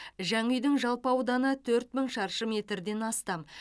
жаңа үйдің жалпы ауданы төрт мың шаршы метрден астам